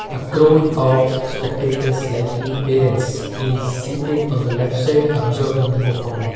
a crowd of spectators likely parents is seated on the left side absorbed in the performance.